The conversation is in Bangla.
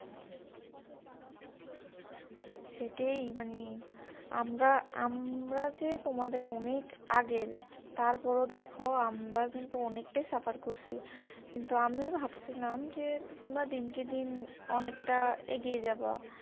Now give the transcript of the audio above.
সেটাই মানে আমরা আমরা যে তোমাদের অনেক আগের তারপর ও দেখো আমরা কিন্তু অনেকটাই suffer করছি কিন্তু আমি ভাবছিলাম যে তোমরা দিনকে দিন অনেকটা এগিয়ে যাবা